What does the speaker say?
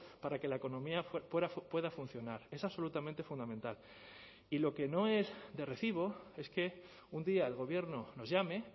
para que la economía pueda funcionar es absolutamente fundamental y lo que no es de recibo es que un día el gobierno nos llame